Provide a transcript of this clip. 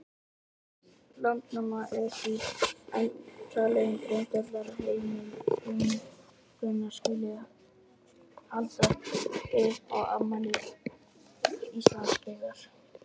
Landnáma er því enn talin grundvallarheimild um hvenær halda skuli upp á afmæli Íslandsbyggðar.